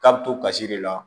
K'a bɛ to kasi de la